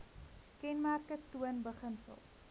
kenmerke toon beginsels